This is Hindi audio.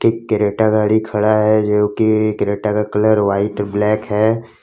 एक क्रेटा गाड़ी खड़ा है जो की एक क्रेटा का कलर व्हाइट ब्लैक है।